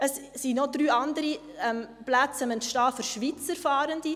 Es sind noch drei andere Plätze im Entstehen begriffen für Schweizer Fahrende.